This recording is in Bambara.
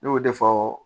Ne y'o de fɔ